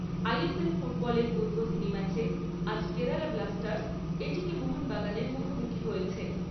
ছয়। ফুটবলের উদ্বোধনী ম্যাচে আজ কেরালা ব্লাস্টার্স, মোহনবাগানের মুখোমুখি হয়েছে।